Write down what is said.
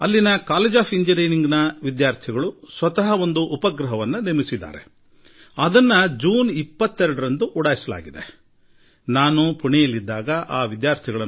ಅಲ್ಲಿ ನಾನು ಕಳೆದ 22ರಂದು ಉಡಾವಣೆಯಾದ ಉಪಗ್ರಹಗಳ ಪೈಕಿ ಒಂದನ್ನು ಸ್ವ ಶ್ರಮದಿಂದ ನಿರ್ಮಿಸಿದ ಪುಣೆ ಎಂಜಿನಿಯರಿಂಗ್ ಕಾಲೇಜು ವಿದ್ಯಾರ್ಥಿಗಳನ್ನು ಭೇಟಿಯಾಗಿದ್ದೆ